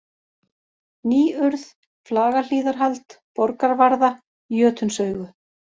Nýurð, Flagahlíðarhald, Borgarvarða, Jötunsaugu